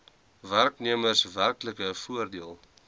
werknemers werklike voordeel